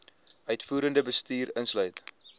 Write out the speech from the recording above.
uitvoerende bestuur insluit